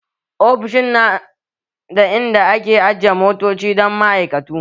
Ofishin na da in da ake ajiyan motoci dan ma'aikatu